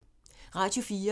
Radio 4